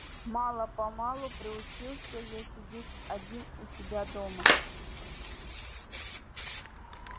мало-помалу приучился я сидеть один у себя дома